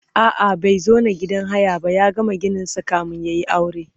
a'a bai zauna a gidan haya ba ya gama gininsa kamin yayi aure